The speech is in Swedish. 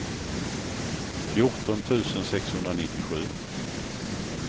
fjorton tusen sexhundranittiosju